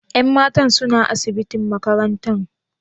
Yan matan suna asibitin makarantan?